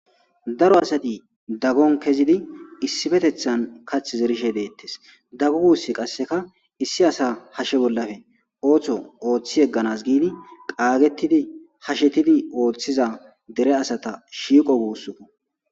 Daro asati dagon kezid issipetetan kathi zerishe detes, dagu guys qaseka issi asa hashe bollappe ootho oothi yeganas giid qagetid , hashetid oothiza dere asata shiiqo guusuko.